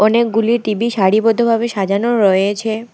অনেকগুলি টি_ভি সারিবদ্ধভাবে সাজানো রয়েছে।